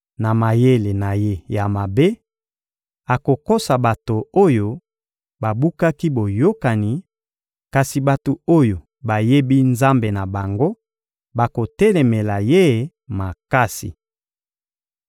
Na mayele na ye ya mabe, akokosa bato oyo babukaki boyokani; kasi bato oyo bayebi Nzambe na bango bakotelemela ye makasi.